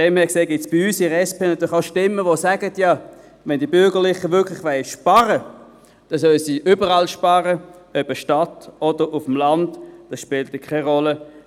Deshalb gibt es bei uns in der SP natürlich auch Stimmen, die sagen: Ja, wenn die Bürgerlichen wirklich sparen wollen, dann sollen sie überall sparen, ob Stadt oder Land, das spielt dann keine Rolle.